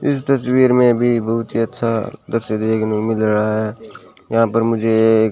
इस तस्वीर में भी बहुत ही अच्छा दृश्य देखने को मिल रहा है यहां पर मुझे ये एक--